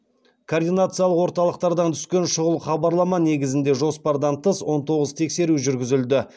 координациялық орталықтардан түскен шұғыл хабарлама негізінде жоспардан тыс он тоғыз тексеру жүргізілді